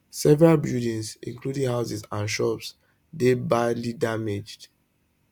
several buildings including houses and shops dey badly damaged